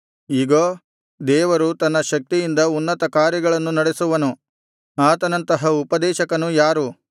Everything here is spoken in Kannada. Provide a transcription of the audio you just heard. ಇಗೋ ದೇವರು ತನ್ನ ಶಕ್ತಿಯಿಂದ ಉನ್ನತ ಕಾರ್ಯಗಳನ್ನು ನಡೆಸುವನು ಆತನಂತಹ ಉಪದೇಶಕನು ಯಾರು